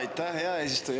Aitäh, hea eesistuja!